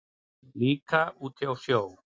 Líka út í sjó.